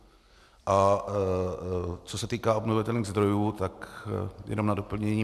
A co se týká obnovitelných zdrojů, tak jenom na doplnění.